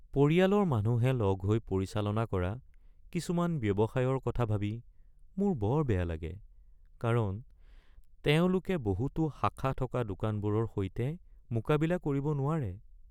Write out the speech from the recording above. পৰিয়ালৰ মানুহে লগ হৈ পৰিচালনা কৰা কিছুমান ব্যৱসায়ৰ কথা ভাবি মোৰ বৰ বেয়া লাগে কাৰণ তেওঁলোকে বহুতো শাখা থকা দোকানবোৰৰ সৈতে মোকাবিলা কৰিব নোৱাৰে।